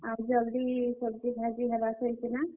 ଆଉ ଜଲ୍ ଦି सब्जी ବିକି ହେବା କହି କି ନାଁ।